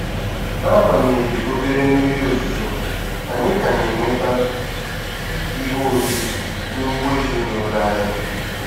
N'agbanyeghị obere mmiri ozuzo, anyị ka na-enweta ihe oriri n'ugbo ezinụlọ anyị.